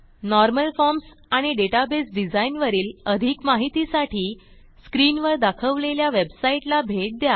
normal forms आणि database design वरील अधिक माहितीसाठी स्क्रीन वर दाखवलेल्या वेबसाईटला भेट द्या